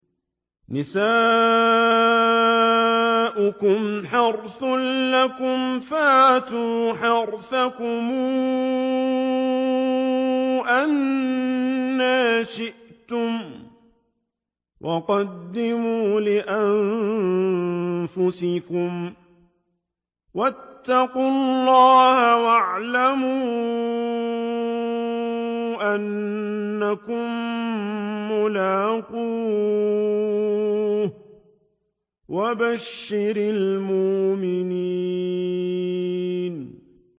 نِسَاؤُكُمْ حَرْثٌ لَّكُمْ فَأْتُوا حَرْثَكُمْ أَنَّىٰ شِئْتُمْ ۖ وَقَدِّمُوا لِأَنفُسِكُمْ ۚ وَاتَّقُوا اللَّهَ وَاعْلَمُوا أَنَّكُم مُّلَاقُوهُ ۗ وَبَشِّرِ الْمُؤْمِنِينَ